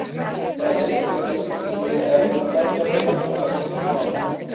Það er leikur í undanúrslitum EM og það gæti væntanlega skýrt málin.